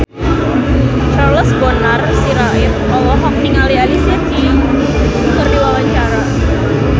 Charles Bonar Sirait olohok ningali Alicia Keys keur diwawancara